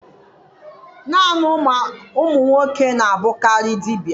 Naanị ụmụ nwoke na-abụkarị dibia.